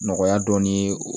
Nɔgɔya dɔɔnin ye